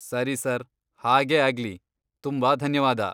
ಸರಿ ಸರ್, ಹಾಗೇ ಆಗ್ಲಿ.. ತುಂಬಾ ಧನ್ಯವಾದ.